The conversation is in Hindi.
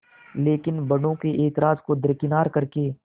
लेकिन बड़ों के ऐतराज़ को दरकिनार कर के